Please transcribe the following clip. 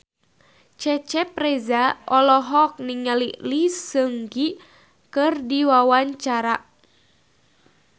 Cecep Reza olohok ningali Lee Seung Gi keur diwawancara